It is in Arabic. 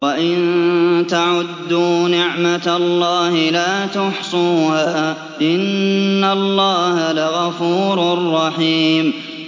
وَإِن تَعُدُّوا نِعْمَةَ اللَّهِ لَا تُحْصُوهَا ۗ إِنَّ اللَّهَ لَغَفُورٌ رَّحِيمٌ